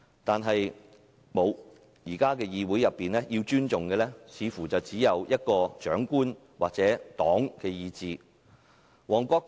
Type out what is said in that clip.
但是，現時議會要尊重的似乎只有長官或黨的意志。